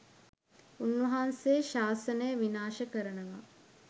උන්වහන්සේ ශාසනය විනාශ කරනවා